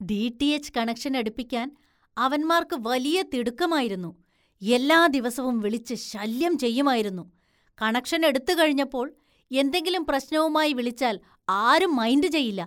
DTH connection‍ എടുപ്പിക്കാന്‍ അവന്മാര്‍ക്ക് വലിയ തിടുക്കമായിരുന്നു, എല്ലാ ദിവസവും വിളിച്ച് ശല്യം ചെയ്യുമായിരുന്നു, കണക്ഷന്‍ എടുത്തുകഴിഞ്ഞപ്പോള്‍ എന്തെങ്കിലും പ്രശ്‌നവുമായി വിളിച്ചാല്‍ ആരും മൈന്‍ഡ് ചെയ്യില്ല.